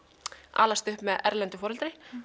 alast upp með erlendu foreldri